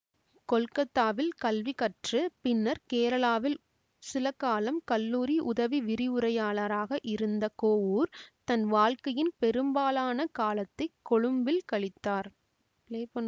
கொல்கத்தாவில் கல்வி கற்று பின்னர் கேரளாவில் சில காலம் கல்லூரி உதவி விரிவுரையாளராக இருந்த கோவூர் தன் வாழ்க்கையின் பெரும்பாலான காலத்தை கொழும்பில் கழித்தார்